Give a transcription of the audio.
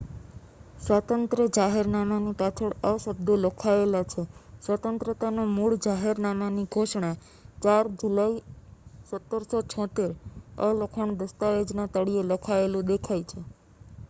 "સ્વાતંત્ર્ય જાહેરનામાની પાછળ આ શબ્દો લખાયેલા છે "સ્વતંત્રતાનું મૂળ જાહેરનામાની ઘોષણા 4 જુલાઈ 1776"". આ લખાણ દસ્તાવેજના તળિયે લખાયેલું દેખાય છે.